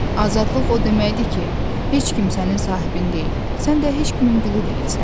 Azadlıq o deməkdir ki, heç kim sənin sahibin deyil, sən də heç kimin qulu deyilsən.